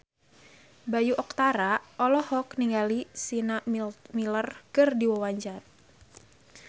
Bayu Octara olohok ningali Sienna Miller keur diwawancara